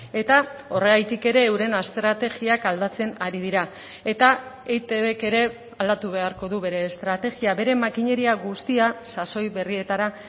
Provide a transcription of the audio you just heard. eta horregatik ere euren estrategiak aldatzen ari dira eta eitbk ere aldatu beharko du bere estrategia bere makineria guztia sasoi berrietara